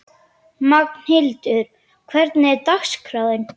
Magnhildur, hvernig er dagskráin?